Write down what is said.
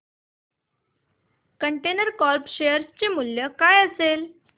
container corp share चे मूल्य काय असेल